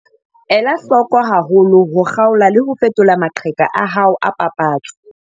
Ela hloko haholo ho kgaola le ho fetola maqheka a hao a papatso.